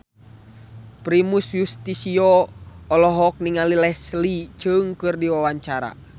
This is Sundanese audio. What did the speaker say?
Primus Yustisio olohok ningali Leslie Cheung keur diwawancara